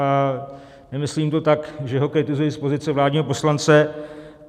A nemyslím to tak, že ho kritizuji z pozice vládního poslance.